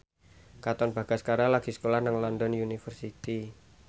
Katon Bagaskara lagi sekolah nang London University